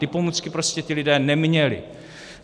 Ty pomůcky prostě ti lidé neměli.